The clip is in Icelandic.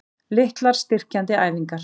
Litlar styrkjandi æfingar?